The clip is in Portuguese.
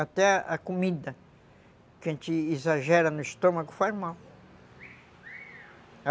Até a comida que a gente exagera no estômago faz mal.